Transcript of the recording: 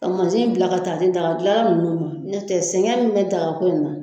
Ka masin bila ka ta di daga minnu ma nɔtɛ, sɛgɛn min bɛ daga ko in na.